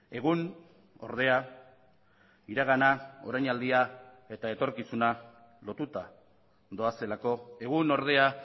egun ordea iragana orainaldia eta etorkizuna lotuta doazelako egun ordea